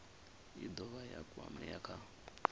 i dovha ya kwamea kha